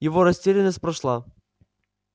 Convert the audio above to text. его растерянность прошла